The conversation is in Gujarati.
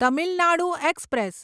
તમિલ નાડુ એક્સપ્રેસ